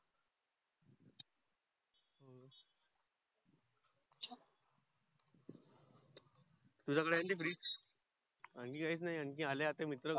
तुझ्या कडे आहे न ती fridge आणखी काहीच नाही आणखी आले मित्र